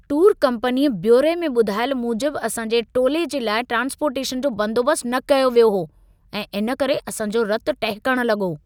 Tour कम्पनीअ बयोरे में ॿुधायल मूजिबि असां जे टोले जे लाइ ट्रान्सपोर्टेशनु जो बंदोबस्त न कयो वियो हो ऐं इन करे असांजो रतु टहिकण लॻो।